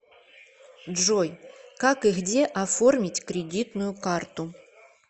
джой как и где оформить кредитную карту